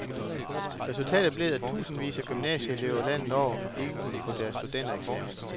Resultatet blev, at tusindvis af gymnasieelever landet over ikke kunne få deres studentereksamen.